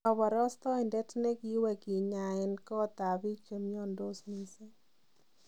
Koborostoindet negiiwee kinyaeeen koot ab biik chemiondos mising'.